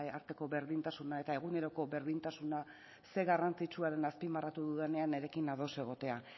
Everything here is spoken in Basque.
arteko berdintasuna eta eguneroko berdintasuna zer garrantzitsua den azpimarratu dudanean nirekin ados egotea